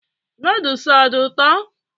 Nodles ọ dị ụtọ?